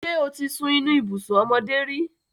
Ṣé o ti sun inú ibùsùn ọmọdé rí?